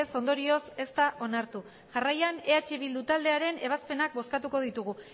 ondorioz ez da onartu jarraian eh bildu taldearen ebazpenak bozkatuko ditugu